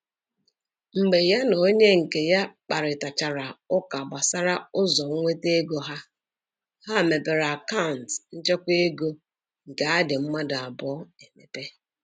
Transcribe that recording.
Mgbe ya na onye nke ya kparịtachara ụka gbasara ụzọ nweta ego ha, ha mepere akant nchekwa ego nke adị mmadụ abụọ emepe.